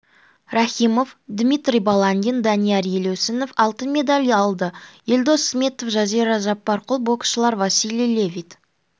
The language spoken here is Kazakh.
рахимов дмитрий баландин данияр елеусінов алтын медаль алды елдос сметов жазира жаппарқұл боксшылар василий левит